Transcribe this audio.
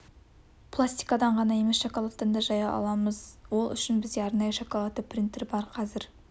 пластикадан ғана емес шоколадттан да жай аламыз ол үшін бізде арнайы шоколадты принтері бар қазір